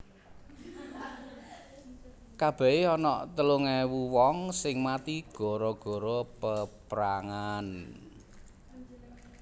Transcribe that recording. Kabehe onok telung ewu wong sing mati gara gara peprangan